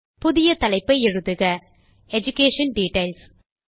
புதிய தலைப்பை எழுதுக எடுகேஷன் டிட்டெயில்ஸ்